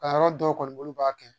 Kalanyɔrɔ dɔw kɔni b'a kɛ